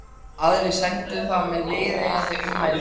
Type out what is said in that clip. Aðrir sendu það með viðeigandi ummælum.